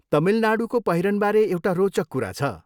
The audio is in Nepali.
तमिलनाडूको पहिरनबारे एउटा रोचक कुरा छ।